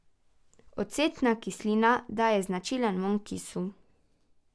Ocetna kislina daje značilen vonj kisu.